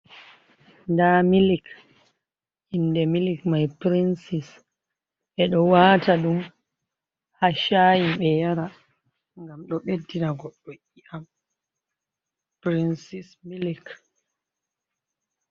Nda milik inde milik mai princis ɓeɗo wata ɗum ha shayin ɓe yara gam ɗo ɓeddina goɗɗo i'am princis milik.